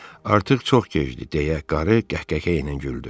Artıq çox gecdi deyə qarı qəhqəhə ilə güldü.